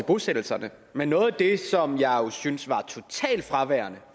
bosættelserne men noget af det som jeg jo synes var totalt fraværende